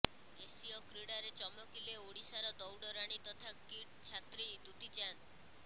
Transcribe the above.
ଏସୀୟ କ୍ରୀଡ଼ାରେ ଚମକିଲେ ଓଡ଼ିଶାର ଦୌଡ଼ରାଣୀ ତଥା କିଟ୍ ଛାତ୍ରୀ ଦୂତୀ ଚାନ୍ଦ